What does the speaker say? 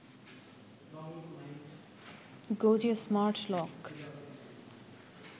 গোজি smart lock